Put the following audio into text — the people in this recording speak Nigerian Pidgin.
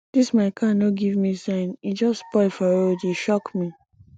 dis my car no give me sign e just spoil for road e shock me